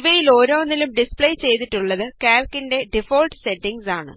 ഇവയിലോരോന്നിലും display ചെയ്തിട്ടുള്ളത് കാല്ക്കിന്റെ default settings ആണ്